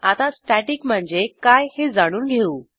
आता स्टॅटिक म्हणजे काय हे जाणून घेऊ